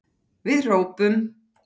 Við hrópum!